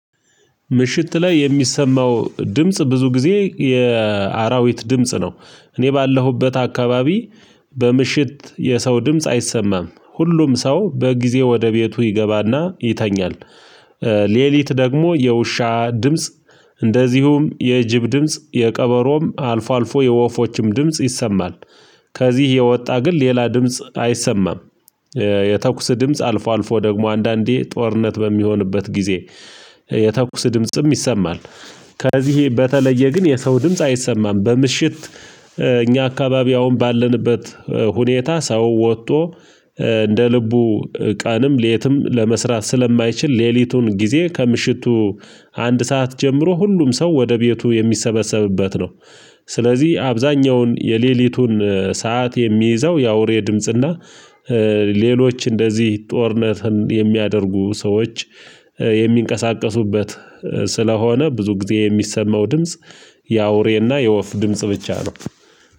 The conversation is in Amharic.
ምሽት ላይ የሚሰማው ድምጽ ብዙ ጊዜ የአራዊት ድምጽ ነው። እኔ ባለሁበት አካባቢ በምሽት የሰው ድምጽ አይሰማም ሁሉም ሰው በጊዜ ወደ ቤቱ ይገባና ይተኛል። ሌሊት ደግሞ የውሻ ድምጽ እንደዚሁም የጅብ ድምጽ የቀበሮም አልፎ አልፎ የወፎችም ድምጽ ይሰማል። ከዚህ የወጣ ግን ሌላ ድምጽ አይሰማም። የተኩስ ድምጽ አልፎ አልፎ ደግሞ አንዳንዴ ጦርነት በሚሆንበት ጊዜ የተኩስ ድምጽም ይሰማል። ከዚህ በተለየ ግን የሰው ድምጽ አይሰማም በምሽት። እኛ አካባቢ አሁን ባለንበት ሁኔታ ሰው ወጦ እንደ ልቡ ቀንም ሌትም ለመስራት ስለማይችል ሌሊቱን ጊዜ ከምሽቱ አንድ ሰዓት ጀምሮ ሁሉም ሰው ወደ ቤቱ የሚሰበሰብበት ነው። ስለዚህ አብዛኛውን የሌሊቱን ሰዓት የሚይዘው የአውሬ ድምጽና ሌሎች እንደዚህ ጦርነትን የሚያደርጉ ሰዎች የሚንቀሳቀሱበት ስለሆነ ብዙ ጊዜ የሚሰማው ድምጽ የአውሬና የወፍ ድምጽ ብቻ ነው